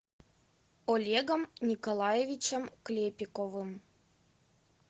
олегом николаевичем клепиковым